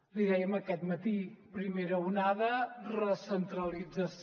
l’hi dèiem aquest matí primera onada recentralització